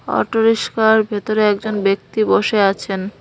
Auto রিক্সার ভেতরে একজন ব্যক্তি বসে আছেন।